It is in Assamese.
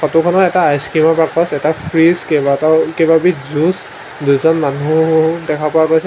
ফটো খনত এটা আইচক্ৰীম ৰ বাকচ এটা ফ্ৰিজ কেইবাটাও কেইবাবিধ জুছ দুজন মানুহো দেখা পোৱা গৈছে।